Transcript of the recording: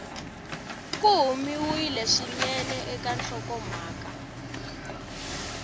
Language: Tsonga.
ku humiwile swinene eka nhlokomhaka